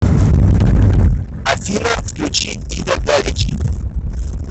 афина включи ида галич